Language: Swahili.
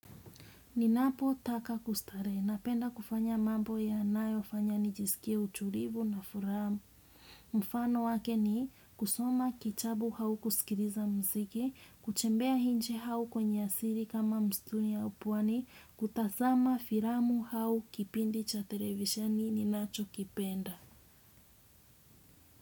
Ninapotaka kustarehe, napenda kufanya mambo yanayofanya nijisikie utulivu na furaha. Mfano wake ni kusoma kitabu au kusikiliza muziki, kutembea nje au kwenye asili kama msituni au pwani, kutazama filamu au kipindi cha televisheni ninachokipenda.